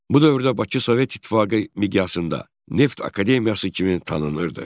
Bu dövrdə Bakı Sovet İttifaqı miqyasında Neft Akademiyası kimi tanınırdı.